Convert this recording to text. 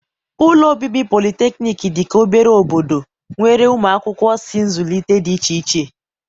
ụlọ obibi polytechnic dị ka obere obodo, nwere ụmụ akwụkwọ si nzụlite dị iche iche